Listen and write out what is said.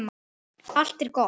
Allt er gott!